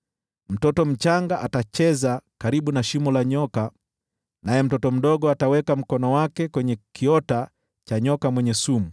Mtoto mchanga atacheza karibu na shimo la nyoka, naye mtoto mdogo ataweka mkono wake kwenye kiota cha fira.